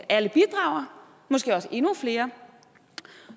alle bidrager måske også endnu flere